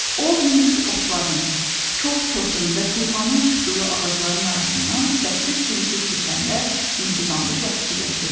O hündür otların, kol-kosun və tufanın çıxdığı ağacların arasından səssiz sivişib keçəndə mehribanlıqla fikirləşirdi.